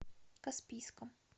каспийском